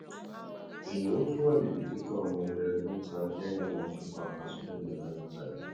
ìnáwó tí ó wà níbi títọ ọmọ wẹẹrẹ mẹta jẹ ohun tí ó pakasọ lẹnú ọjọ mẹta yìí